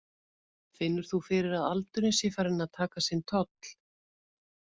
Finnur þú fyrir að aldurinn sé farinn að taka sinn toll?